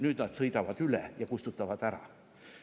" Nüüd nad sõidavad üle ja kustutavad ära.